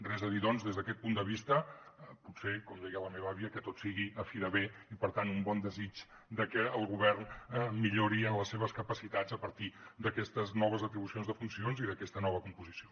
res a dir doncs des d’aquest punt de vista potser com deia la meva àvia que tot sigui a fi de bé i per tant un bon desig de que el govern millori en les seves capacitats a partir d’aquestes noves atribucions de funcions i d’aquesta nova composició